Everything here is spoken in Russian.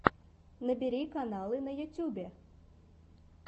набери каналы на ютубе